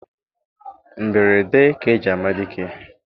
Mberede ka eji ama dike